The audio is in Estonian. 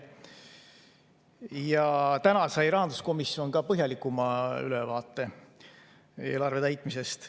Ja täna sai rahanduskomisjon ka põhjalikuma ülevaate eelarve täitmisest.